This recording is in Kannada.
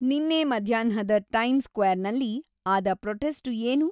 ನಿನ್ನೆ ಮಧ್ಯಾಹ್ನದ ಟೈಮ್ ಸ್ಕ್ವೈರ್ ನಲ್ಲಿ ಆದ ಪ್ರೊಟೆಸ್ಟ್ ಏನು